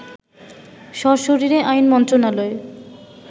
সশরীরে আইন মন্ত্রণালয়ে